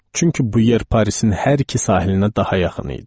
Çünki bu yer Parisin hər iki sahilinə daha yaxın idi.